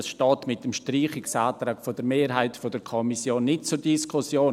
Das steht mit dem Streichungsantrag der Mehrheit der Kommission nicht zur Diskussion.